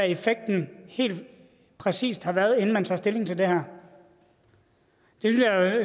effekten helt præcis har været inden man tager stilling til det her det